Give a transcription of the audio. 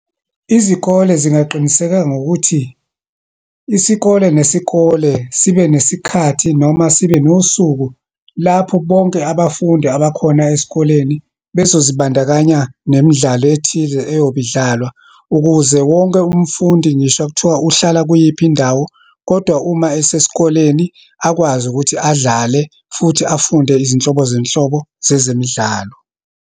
Izikole zingaqinisekeka ngokuthi, isikole nesikole sibe nesikhathi, noma sibe nosuku lapho bonke abafundi abakhona esikoleni bezozibandakanya nemidlalo ethize eyobe idlalwa. Ukuze wonke umfundi, ngisho kuthiwa uhlala kuyiphi indawo, kodwa uma esesikoleni, akwazi ukuthi adlale futhi afunde izinhlobozeyinhlobo zezemidlalo.